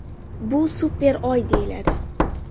Bu super Oy deyiladi.